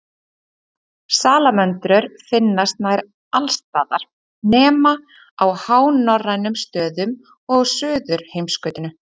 Salamöndrur finnast nær alls staðar nema á hánorrænum stöðum og á Suðurheimskautinu.